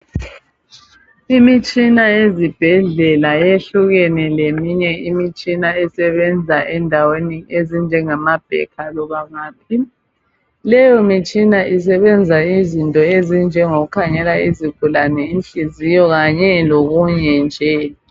Imitshina yezibhedlela ,yehlukene leminye imitshina esebenza endaweni ezinjengama bhekha loba ngaphi. Leyo mitshina isebenza izinto ezinjengokukhangela izigulane Inhliziyo kanye lokunye nje .